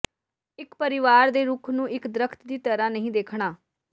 ਇੱਕ ਪਰਿਵਾਰ ਦੇ ਰੁੱਖ ਨੂੰ ਇੱਕ ਦਰੱਖਤ ਦੀ ਤਰ੍ਹਾਂ ਨਹੀਂ ਦੇਖਣਾ